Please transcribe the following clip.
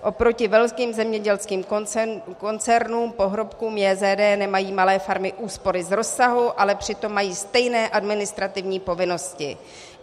Oproti velkým zemědělským koncernům, pohrobkům JZD, nemají malé farmy úspory z rozsahu, ale přitom mají stejné administrativní povinnosti.